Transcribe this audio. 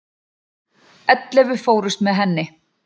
Ellefu fórust með henni.